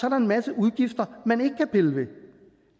er en masse udgifter man ikke kan pille ved